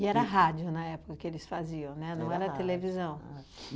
era rádio, na época, que eles faziam, né, não era televisão?